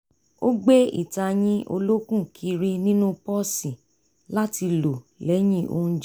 ó gbé ìtayín olókùn kiri nínú pọ́ọ̀sì láti lo lẹ́yìn ounjẹ